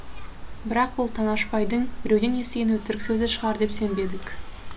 бірақ бұл танашбайдың біреуден естіген өтірік сөзі шығар деп сенбедік